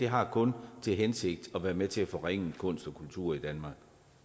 har kun til hensigt at være med til at forringe kunst og kultur i danmark